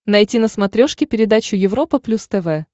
найти на смотрешке передачу европа плюс тв